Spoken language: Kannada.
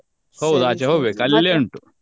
ಹೌದ್ ಆಚೆ ಹೋಗ್ಬೇಕು ಅಲ್ಲಿಯೇ ಉಂಟು.